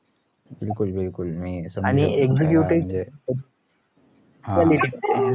बिलकुल बिलकुल मी हा